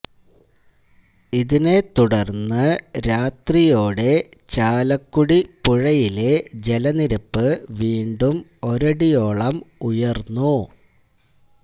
ഇതിെന തുടര്ന്ന് രാ്രതിേയാെട ചാലക്കുടി പുഴയിെല ജലനിരപ്പ് വീണ്ടു ഒരടിേയാളം ഉയര്ന്നു